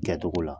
Kɛcogo la